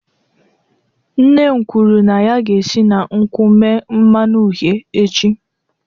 Nne m kwuru na ya ga-esi na nkwụ mee mmanụ uhie echi